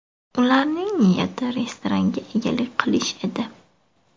Ularning niyati restoranga egalik qilish edi.